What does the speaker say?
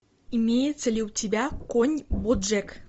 имеется ли у тебя конь боджек